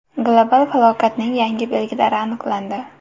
Global falokatning yangi belgilari aniqlandi.